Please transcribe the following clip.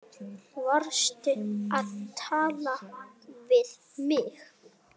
Varstu að tala við mig?